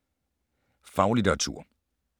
Faglitteratur